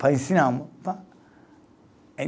Para ensinar amor.